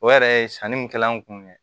O yɛrɛ ye sanni mun kɛla an kun